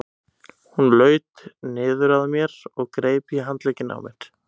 Hún laut niður að mér og greip í handlegginn á mér.